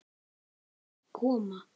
Þær koma.